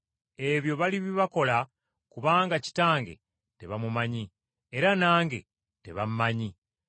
Ebyo balibibakola kubanga Kitange tebaamumanya, era nange tebammanyi.